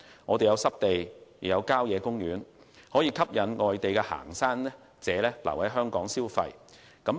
我們設有濕地及郊野公園，可吸引外地行山者留港消費。